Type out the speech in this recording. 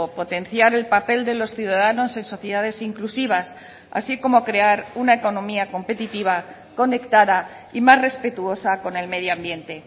potenciar el papel de los ciudadanos en sociedades inclusivas así como crear una economía competitiva conectada y más respetuosa con el medio ambiente